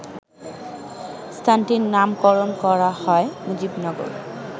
স্থানটির নামকরণ করা হয় মুজিবনগর